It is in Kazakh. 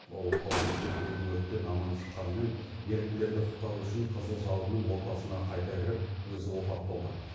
ол тау бөктеріндегі өрттен аман шыққанымен еріктілерді құтқару үшін қызыл жалынның ортасына қайта кіріп өзі опат болды